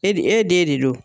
E de e den de don